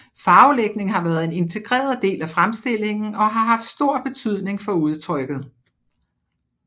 Farvelægning har været en integreret del af fremstillingen og har haft stor betydning for udtrykket